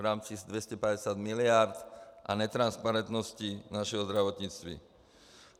V rámci 250 mld. a netransparentnosti našeho zdravotnictví.